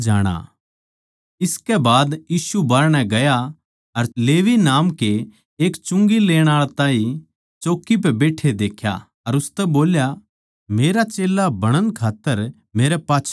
इसकै बाद यीशु बाहरणै गया अर लेवी नाम के एक चुंगी लेण आळे ताहीं चौकी पै बैट्ठे देख्या अर उसतै बोल्या मेरा चेल्ला बणण खात्तर मेरै पाच्छै हो ले